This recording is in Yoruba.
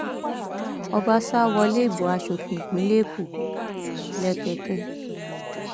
ọbaṣá wọlé ìbò asòfin ìpínlẹ èkó lẹkẹkẹ